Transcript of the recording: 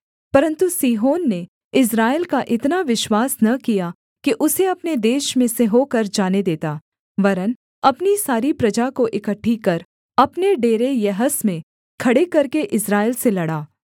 परन्तु सीहोन ने इस्राएल का इतना विश्वास न किया कि उसे अपने देश में से होकर जाने देता वरन् अपनी सारी प्रजा को इकट्ठी कर अपने डेरे यहस में खड़े करके इस्राएल से लड़ा